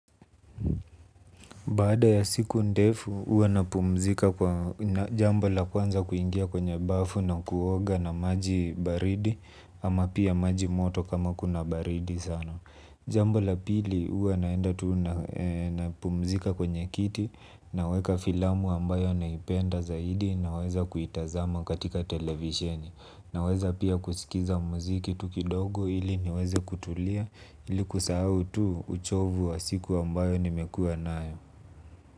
Baada ya siku ndefu huwa na pumzika kwa jambola kwanza kuingia kwenye bafu na kuoga na maji baridi ama pia maji moto kama kuna baridi sana. Jambola pili huwa naenda tuna na pumzika kwenye kiti naweka filamu ambayo naipenda zaidi naweza kuitazama katika televisheni naweza pia kusikiza muziki tu kidogo ili niweze kutulia ili kusahau tu uchovu wa siku ambayo nimekua nayo.